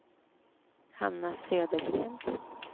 Hanna Södergren